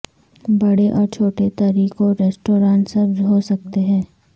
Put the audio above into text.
بڑے اور چھوٹے طریقوں ریستوران سبز ہو سکتے ہیں